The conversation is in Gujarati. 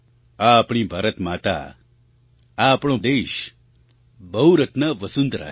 આ આપણી ભારતમાતા આ આપણો દેશ બહુરત્ના વસુંધરા છે